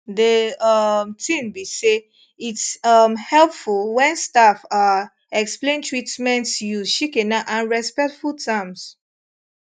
de um tin be say its um helpful wen staff ah explain treatments use shikena and respectful terms